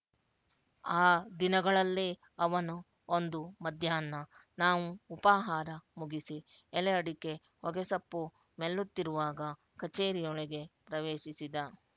ಆ ದಿನಗಳಲ್ಲೇ ಅವನು ಒಂದು ಮಧ್ಯಾಹ್ನ ನಾವು ಉಪಾಹಾರ ಮುಗಿಸಿ ಎಲೆಅಡಿಕೆ ಹೊಗೆಸೊಪ್ಪು ಮೆಲ್ಲುತ್ತಿರುವಾಗ ಕಛೇರಿಯೊಳಗೆ ಪ್ರವೇಶಿಸಿದ